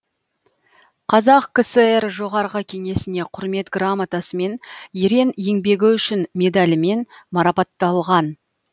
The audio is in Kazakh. қазақ кср жоғарғы кеңесіне құрмет грамотасымен ерен еңбегі үшін медалімен марапатталған